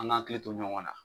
An gan akili to ɲɔgɔn na